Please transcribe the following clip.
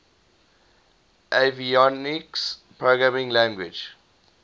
avionics programming language